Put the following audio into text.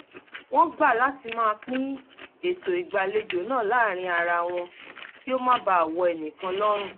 wọ́n gbà láti máa pin ètò ìgbàlejo náà láàárín ara wọn kí ó má baà wọ ẹ̀nìkan lọ́rùn